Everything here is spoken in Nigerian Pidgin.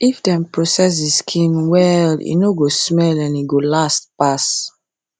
if dem process the skin well e no go smell and e go last pass